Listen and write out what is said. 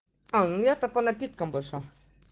а у меня-то по напиткам больше